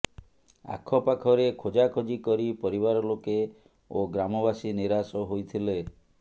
ଆଖପାଖରେ ଖୋଜାଖୋଜି କରି ପରିବାର ଲୋକେ ଓ ଗ୍ରାମବାସୀ ନିରାଶ ହୋଇଥିଲେ